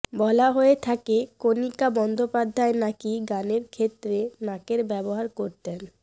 বলা হয়ে থাকে কণিকা বন্দ্যোপাধ্যায় নাকি গানের ক্ষেত্রে নাকের ব্যবহার করতেন